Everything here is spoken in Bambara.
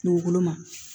Kungolo ma